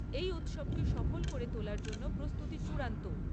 এই উৎসবকে সফল করে তোলার জন্য প্রস্তুতি চূড়ান্ত।